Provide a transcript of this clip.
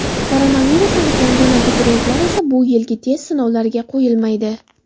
Koronavirus aniqlangan abituriyentlar esa bu yilgi test sinovlariga qo‘yilmaydi.